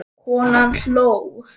Konan hló.